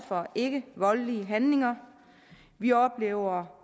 for ikkevoldelige handlinger vi oplever